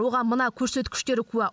оған мына көрсеткіштер куә